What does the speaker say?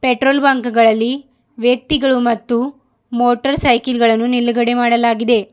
Petrol ಬಂಕ್ಗ ಳಲ್ಲಿ ವ್ಯಕ್ತಿಗಳು ಮತ್ತು ಮೋಟರ್ ಸೈಕಲ್ ಗಳನ್ನ ನಿಲ್ಗಡೆ ಮಾಡಲಾಗಿದೆ.